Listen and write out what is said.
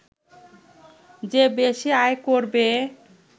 যে বেশি আয় করবে